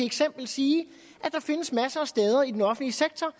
eksempel og sige at der findes masser af steder i den offentlige sektor